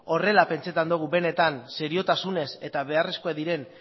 horrela pentsatzen dugu benetan seriotasunez eta beharrezkoak diren